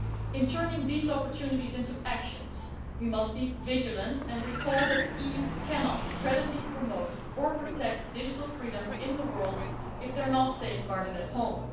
In turning these opportunities into actions we must be vigilant and recall that the EU cannot credibly promote or protect digital freedoms in the world if they are not safeguarded at home.